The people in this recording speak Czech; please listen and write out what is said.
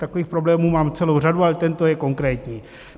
Takových problémů mám celou řadu, ale tento je konkrétní.